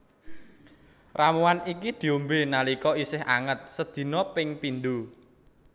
Ramuan iki diombé nalika isih anget sedina ping pindho